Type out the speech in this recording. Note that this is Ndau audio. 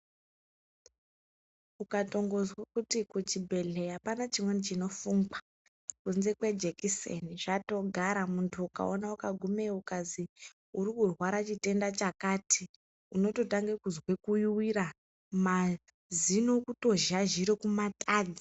Ukatongonzwa kuti chibhedhlera apana chimweni chinofungwa kubva kwejekiseni zvatogara muntu ukagumayo zvikanzi uri kurwaraa chitenda chakati unototanga kunzwa kunyuwira mazino kutozhazhira kumatadza.